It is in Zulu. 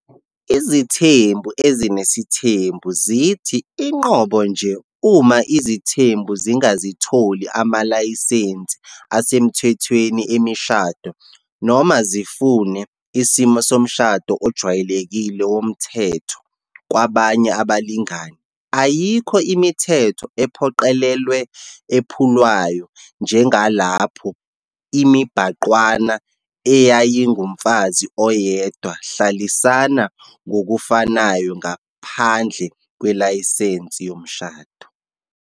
Izithembu ezinesithembu zithi, inqobo nje uma izithembu zingazitholi amalayisense asemthethweni emishado noma zifune "isimo somshado ojwayelekile womthetho" kwabanye abalingani, ayikho imithetho ephoqelelwe ephulwayo njengalapho imibhangqwana eyayingumfazi oyedwa hlalisana ngokufanayo ngaphandle kwelayisensi yomshado.